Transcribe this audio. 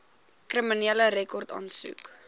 kriminele rekord aansoek